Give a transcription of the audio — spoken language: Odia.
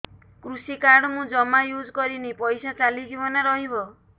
କୃଷି କାର୍ଡ ମୁଁ ଜମା ୟୁଜ଼ କରିନି ପଇସା ଚାଲିଯିବ ନା ରହିବ